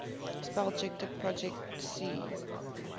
spellchecker projet c